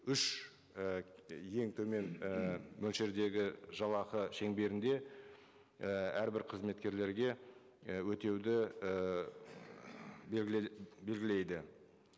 үш і ең төмен і мөлшердегі жалақы шеңберінде і әрбір қызметкерлерге і өтеуді ііі белгілейді